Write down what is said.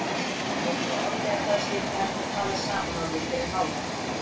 Hefur á orði að það sé ekki hægt að tala saman orðið fyrir hávaða.